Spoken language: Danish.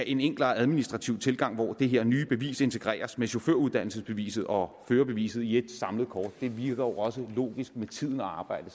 en enklere administrativ tilgang hvor det her nye bevis integreres med chaufføruddannelsesbeviset og førerbeviset i et samlet kort det virker også logisk med tiden at arbejde